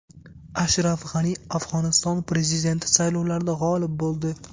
Ashraf G‘ani Afg‘oniston prezidenti saylovlarida g‘olib bo‘ldi.